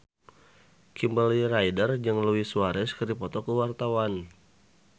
Kimberly Ryder jeung Luis Suarez keur dipoto ku wartawan